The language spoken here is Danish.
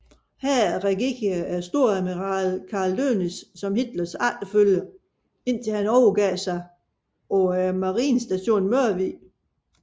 Her regerede storadmiral Karl Dönitz som Hitlers efterfølger indtil han overgav sig på Marinestationen Mørvig